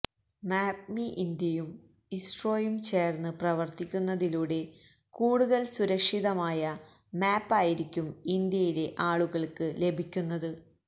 മാപ്പ്മി ഇന്ത്യയും ഇസ്രോയും ചേർന്ന് പ്രവർത്തിക്കുന്നതിലൂടെ കൂടുതൽ സുരക്ഷിതമായ മാപ്പ് ആയിരിക്കും ഇന്ത്യയിലെ ആളുകൾക്ക് ലഭിക്കുന്നത്